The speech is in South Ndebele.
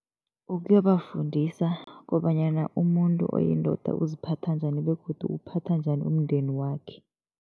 Ukuyobafundisa kobanyana umuntu oyindoda uziphatha njani begodu uwuphatha njani umndeni wakhe.